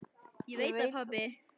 Ég veit það pabbi.